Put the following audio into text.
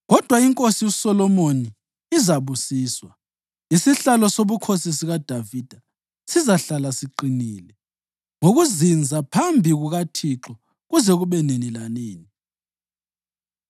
Kodwa iNkosi uSolomoni izabusiswa, isihlalo sobukhosi sikaDavida sizahlala siqinile ngokuzinza phambi kukaThixo kuze kube nini lanini.”